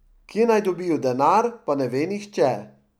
Kje naj dobijo denar, pa ne ve niče.